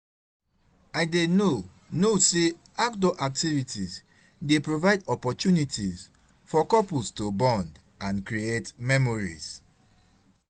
I dey know know say outdoor activities dey provide opportunities for couples to bond and create memories.